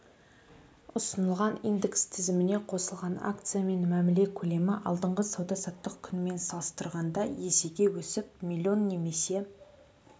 ұсынылған индекс тізіміне қосылған акциямен мәміле көлемі алдыңғы сауда-саттық күнімен салыстырғанда есеге өсіп млн немесе